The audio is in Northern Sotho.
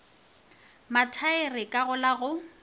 mathaere ka go la go